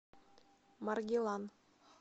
маргилан